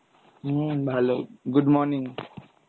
হম ভালো, good morning.